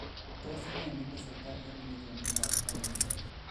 Tos ne ne tesetai en legemitab tawuniit?